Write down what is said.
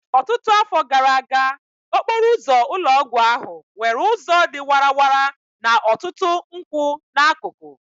Ọtụtụ afọ gara aga, okporo ụzọ ụlọ ọgwụ ahụ nwere ụzọ dị warara na ọtụtụ nkwụ n'akụkụ